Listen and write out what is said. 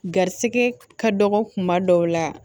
Garisigɛ ka dɔgɔ kuma dɔw la